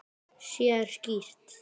Sér skýrt.